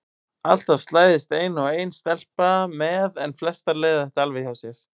Alltaf slæðist ein og ein stelpa með en flestar leiða þetta alveg hjá sér.